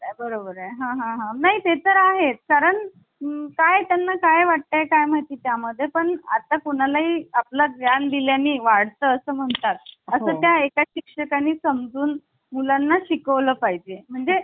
आणि यानंतर पुढील आपली Case आहे याला Of india case आणि ही एकोणविशे पंच्यान्नवची Case आहे. यामध्ये सर्वोच न्यायालयाने अस म्हटल कि प्रस्तावना हि घटनेचा अविभाज्य भाग आहे.